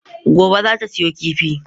Gobe ​​zata siyo kifin.